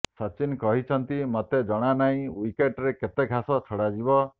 ସଚିନ କହିଛନ୍ତି ମୋତେ ଜଣା ନାହିଁ ଓ୍ବିକେଟ୍ରେ କେତେ ଘାସ ଛଡାଯିବ